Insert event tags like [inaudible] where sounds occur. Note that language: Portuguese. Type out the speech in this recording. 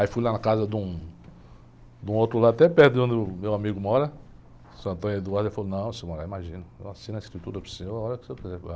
Aí fui lá na casa de um, de um outro lado, até perto de onde meu amigo mora, seu, [unintelligible] ele falou, não, senhor, [unintelligible] imagina, eu assino a escritura para o senhor, a hora que o senhor quiser